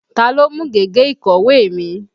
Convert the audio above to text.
Ta ló mú gègé ìkọ̀wé mi?